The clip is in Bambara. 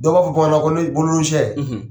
Dɔw b'a fɔ sɛ.